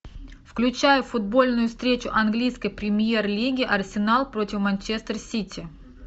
включай футбольную встречу английской премьер лиги арсенал против манчестер сити